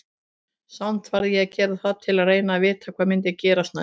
Samt varð ég að gera það til að reyna að vita hvað myndi gerast næst.